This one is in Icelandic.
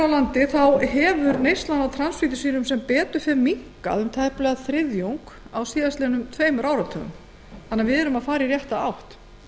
landi hefur neyslan á transfitusýrum sem betur fer minnkað um tæplega þriðjung á síðastliðnum tveimur áratugum þannig að við erum að fara í rétta átt